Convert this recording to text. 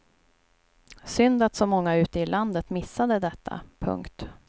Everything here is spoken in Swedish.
Synd att så många ute i landet missade detta. punkt